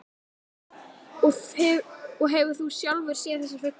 Og hefur þú sjálfur séð þessa fugla?